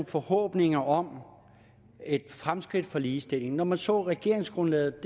forhåbninger om fremskridt for ligestillingen når man så regeringsgrundlaget